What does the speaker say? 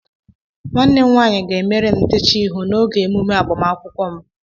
Nwanne m nwanyị ga-emere m ntecha ihu n'oge emume agbamakwụkwọ m